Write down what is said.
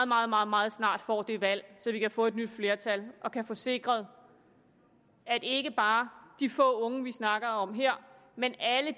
meget meget meget snart får det valg så vi kan få et nyt flertal og kan få sikret at ikke bare de få unge vi snakker om her men alle